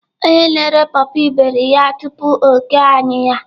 Onye na-ere paw paw iberi ya tupu o kee anyị ya.